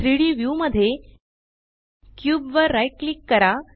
3Dव्यू मध्ये क्यूब वर राइट क्लिक करा